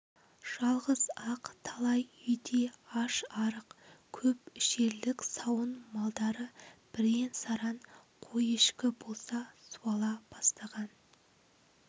жалғыз-ақ талай үйде аш-арық көп ішерлік сауын малдары бірен-саран қой-ешкі болса суала бастаған